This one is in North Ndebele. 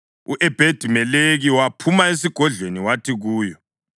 u-Ebhedi-Meleki waphuma esigodlweni wathi kuyo,